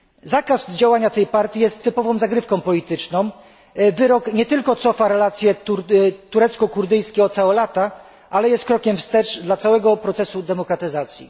Zakaz działania tej partii jest typową zagrywką polityczną, wyrok nie tylko cofa relacje turecko kurdyjskie o całe lata, ale jest krokiem wstecz dla całego procesu demokratyzacji.